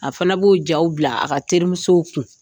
A fana b'o jaw bila a ka terimusow kun